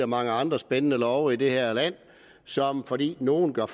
mange andre spændende love i det her land som fordi nogle gør